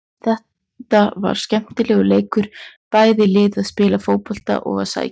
Þetta var skemmtilegur leikur, bæði lið að spila fótbolta og að sækja.